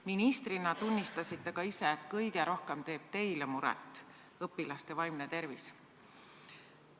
Ministrina tunnistasite ka ise, et kõige rohkem teeb teile muret õpilaste vaimne tervis.